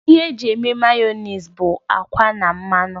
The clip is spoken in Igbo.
Ihe eji eme Mayọnais bụ akwa na mmanụ